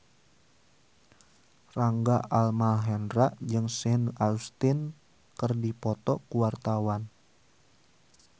Rangga Almahendra jeung Sean Astin keur dipoto ku wartawan